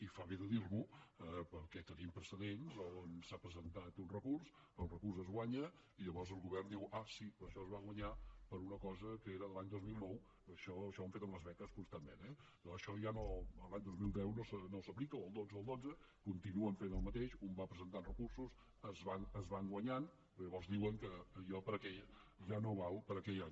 i fa bé de dir m’ho perquè tenim precedents on s’ha presentat un recurs el recurs es guanya i llavors el govern diu ah sí però això es va guanyar per una cosa que era de l’any dos mil nou això ho han fet amb les beques constantment eh això l’any dos mil deu no s’aplica o el dotze continuen fent el mateix un va presentant recursos es van guanyant però llavors diuen que allò ja no val per a aquell any